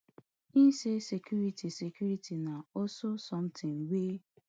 e say security security na also somtin wey